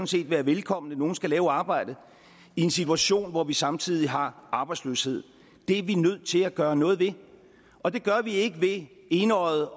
set være velkomne nogle skal lave arbejdet i en situation hvor vi samtidig har arbejdsløshed det er vi nødt til at gøre noget ved og det gør vi ikke ved enøjet